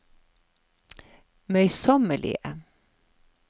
møysommelige